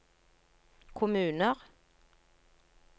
kommuner